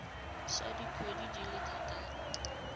sa dikgwedi di le thataro